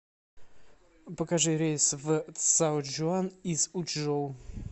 покажи рейс в цзаочжуан из учжоу